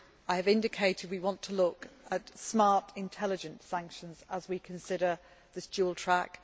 I have indicated we want to look at smart, intelligent sanctions as we consider this dual track.